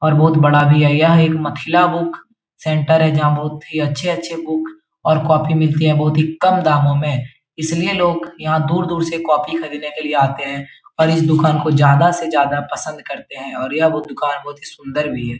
और बहुत बड़ा भी है। यह एक मथिला सेण्टर है। जहाँ बहुत ही अच्छे-अच्छे बुक और कॉपी मिलती है। बहुत ही काम दामों में इसलिए लोग यहाँ दूर-दूर से कॉपी खरीदेने के लिए आते है और इस दुकान को ज्यादा से ज्यादा पसंद करते है और यह वो दुकान बहुत ही सुंदर भी है।